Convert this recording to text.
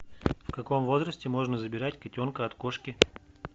в каком возрасте можно забирать котенка от кошки